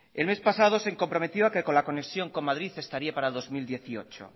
el mes pasado se comprometió a que la conexión con madrid estaría para el dos mil dieciocho